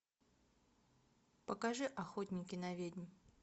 покажи охотники на ведьм